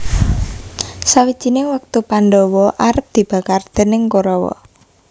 Sawijining wektu Pandhawa arep dibakar déning Korawa